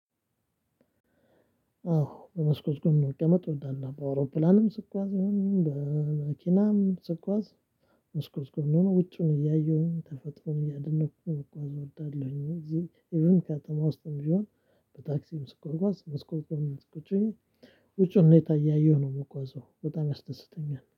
አዎ በመስኮት ጎን መቀመጥ እወዳለሁ በአውሮፕላንም ስጓዝ ይሁን በመኪናም ስጓዝ መስኮት ጎን ውጩን እያየሁኝ ተፈጥሮን እያደነኩኝ መጓዝ እወዳለሁኝ። እዚህ ኢቭን ከተማ ውስጥም ቢሆን በታክሲም ስጓጓዝ መስኮት ጎን ቁጭ ብዬ ውጪውን ሁኔታ እያየሁኝ ነው የምጓዘው። በጣም ያስደስተኛል